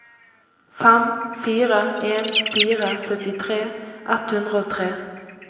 fem fire en fire syttitre ett hundre og tre